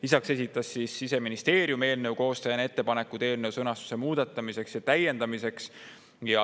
Lisaks esitas Siseministeerium eelnõu koostajana ettepanekud eelnõu sõnastuse muutmiseks ja täiendamiseks.